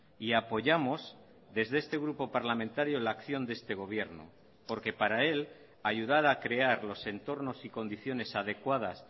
y apoyamos desde este grupo parlamentario la acción de este gobierno porque para él ayudar a crear los entornos y condiciones adecuadas